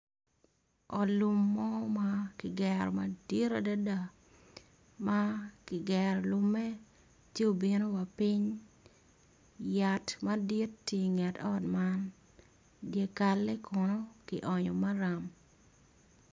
Ot lum mo makigero madit adada makigero lume ci obino wa ping yat madit tye inget ot man dyekale kono ki onyo maram.